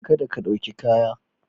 Kada ka ɗauki kaya.